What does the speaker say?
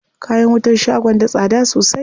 Kayan wutan shagon da tsada sosai.